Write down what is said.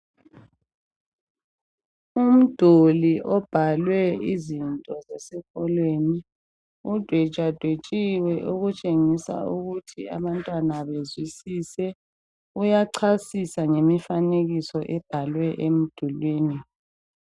Umduli obhalwe izinto zesikolweni, udetshwadetshiwe okutshengisa ukuthi abantwana bezwisise. Uyachasisa ngemifanekiso ebhalwe emdulwini.